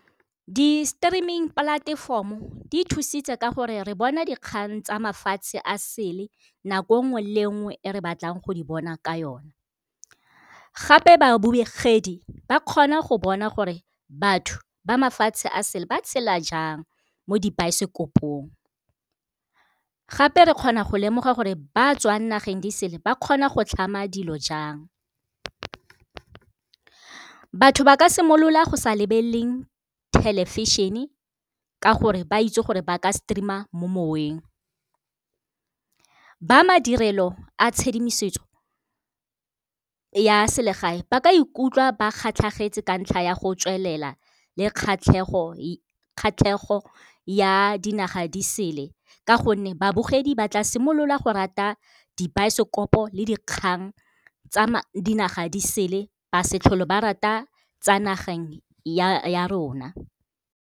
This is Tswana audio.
Di-streaming platform-o di thusitse ka gore re bona dikgang tsa mafatshe a sele nako nngwe le nngwe e re batlang go di bona ka yona. Gape babogedi ba kgona go bona gore batho ba mafatshe a sele ba tshela jang mo dibaesekopong, gape re kgona go lemoga gore ba tswa dinageng di sele ba kgona go tlhama dilo jang. Batho ba ka simolola go sa lebelele television-e ka gore ba itse gore ba ka streamer mo moweng. Ba madirelo a tshedimosetso ya selegae ba ka ikutlwa ba kgatlhagetse ka ntlha ya go tswelela le kgatlhego ya dinaga di sele, ka gonne babogedi ba tla simolola go rata dibaesekopo le dikgang tsa dinaga di sele ba setlhole ba rata tsa nageng ya rona.